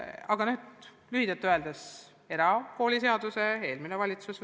Aga lühidalt öeldes: erakooliseaduse võttis vastu eelmine valitsus.